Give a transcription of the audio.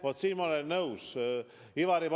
Vaat siin ma olen Ivari Padariga nõus.